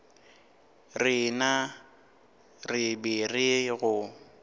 rena re be re go